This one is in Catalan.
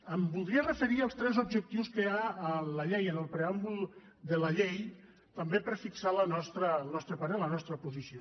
em voldria referir als tres objectius que hi ha en la llei en el preàmbul de la llei també per fixar el nostre parer la nostra posició